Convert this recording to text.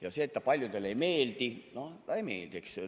Aga see, et ta paljudele ei meeldi – noh, ta ei meeldi.